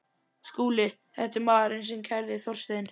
SKÚLI: Þetta er maðurinn sem kærði Þorstein